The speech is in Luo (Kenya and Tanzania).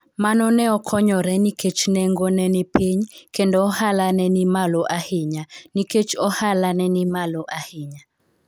Mano ne okonyore nikech nengo ne ni piny kendo ohala ne ni malo ahinya nikech ohala ne ni malo ahinya.